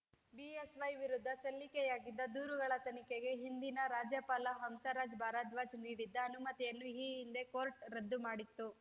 BSY ವಿರುದ್ಧ ಸಲ್ಲಿಕೆಯಾಗಿದ್ದ ದೂರುಗಳ ತನಿಖೆಗೆ ಹಿಂದಿನ ರಾಜ್ಯಪಾಲ ಹಂಸರಾಜ ಭಾರದ್ವಾಜ್‌ ನೀಡಿದ್ದ ಅನುಮತಿಯನ್ನು ಈ ಹಿಂದೆ ಕೋರ್ಟ್‌ ರದ್ದು ಮಾಡಿತ್ತು